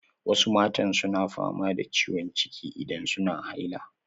Wasu matan na fama da ciwon ciki idan suna haila.